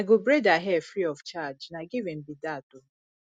i go braid her hair free of charge na giving be dat o